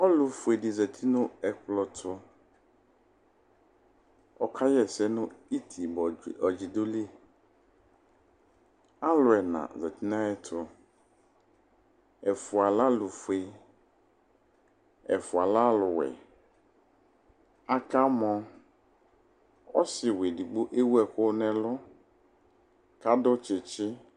Ɔlʋfue dɩ zati nʋ ɛkplɔ tʋ Ɔkaɣa ɛsɛ nʋ itibɔdzɩ ɔdzɩ dʋ li Alʋ ɛna zati nʋ ayɛtʋ Ɛfʋa lɛ alʋfue, ɛfʋa lɛ alʋwɛ Akamɔ Ɔsɩwɛ edigbo ewu ɛkʋ nʋ ɛlʋ kʋ adʋ tsɩtsɩ